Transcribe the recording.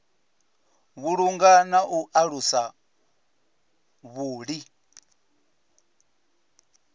vhulunga na u alusa vhuḓi